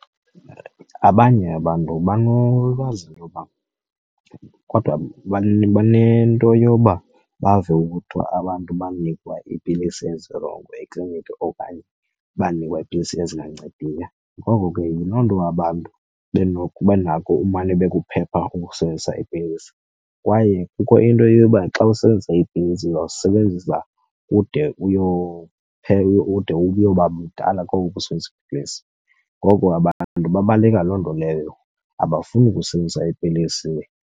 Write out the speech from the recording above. Abanye abantu banolwazi loba kodwa banento yoba bave kuthiwa abantu banikwa iipilisi ezirongo ekliniki okanye banikwa iipilisi ezingancediyo. Ngoko ke yiloo nto abantu benako umane bekuphepha ukusebenzisa iipilisi. Kwaye kukho into yoba xa usebenzisa iipilisi uzozisebenzisa ude , ude uyoba mdala koko usebenzisa iipilisi. Ngoko abantu babaleka loo nto leyo, abafuni kusebenzisa iipilisi.